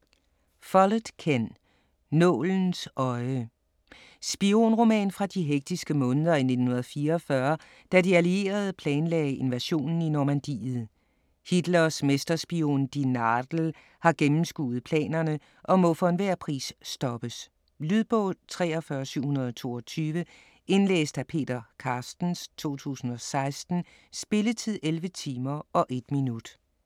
Follett, Ken: Nålens øje Spionroman fra de hektiske måneder i 1944, da de allierede planlagde invasionen i Normandiet. Hitlers mesterspion "die Nadel" har gennemskuet planerne og må for enhver pris stoppes. Lydbog 43722 Indlæst af Peter Carstens, 2016. Spilletid: 11 timer, 1 minut.